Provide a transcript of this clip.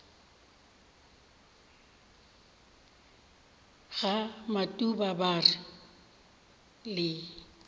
ga matuba ba re le